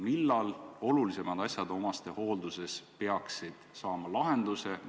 Millal peaksid olulisemad asjad omastehoolduses saama lahenduse?